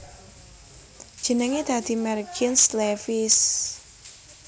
Jenengé dadi merk jeans Levi s